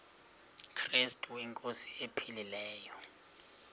krestu inkosi ephilileyo